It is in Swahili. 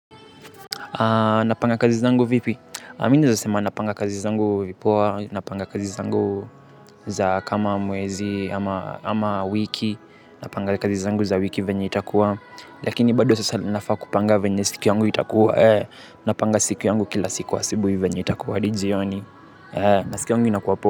Napanga kazi zangu vipi? Mimi nawezasema napanga kazi zangu vipoa. Napanga kazi zangu za kama mwezi ama wiki. Napanga kazi zangu za wiki venye itakuwa. Lakini bado sasa nafaa kupanga venye siku yangu itakuwa. Napanga siku yangu kila siku wa asubuhi venye itakuwa hadi jioni. Na siku yangu inakuwa poa.